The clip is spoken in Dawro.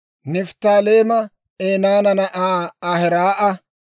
Nifttaaleema Enaana na'aa Ahiraa'a;